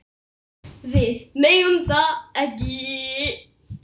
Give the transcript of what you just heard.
Við megum það ekki.